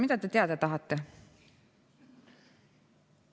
Mida te teada tahate?